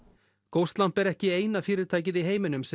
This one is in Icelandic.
ghostlamp er ekki eina fyrirtækið í heiminum sem